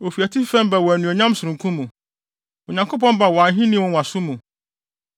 Ofi atifi fam ba wɔ anuonyam sononko mu; Onyankopɔn ba wɔ ahenni nwonwaso mu.